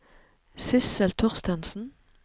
Sissel Thorstensen